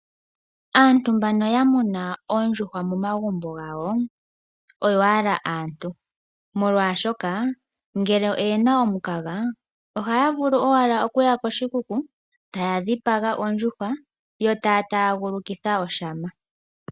Aantu mbono ya muna oondjuhwa momagumbo gawo oyo owala aantu, molwashoka ngele oye na omukaga, ohaya vulu owala okuya koshikuku, taya dhipaga ondjuhwa, yo taa taagulukitha oshama.